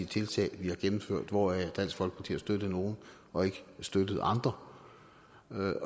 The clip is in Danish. tiltag vi har gennemført hvoraf dansk folkeparti har støttet nogle og ikke støttet andre